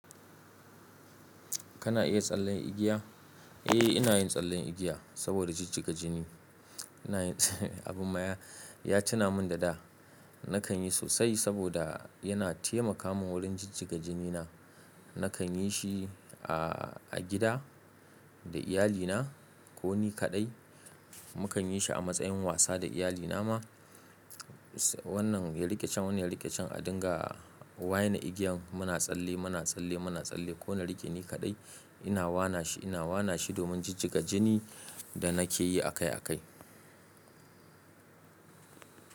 Kana iya tsallen igiya? Eh, ina yin tsallen igiya saboda jijjiga jini. Ina yin abin maya ya tuna min da da. Nakan yi sosai saboda yana taimaka min wurin jijjiga jinina. Nakan yi shi a, a gida da iyalina ko ni kaɗai. Mukanyi shi a matsayin wasa da iyalina ma. Wannan ya riƙe chan, wannan ya riƙe chan a dinga waye igiyan muna tsalle, muna tsalle, muna tsalle. Ko na rike ni kaɗai ina wana shi, ina wana shi domin jijjiga jini da nake yi akai akai.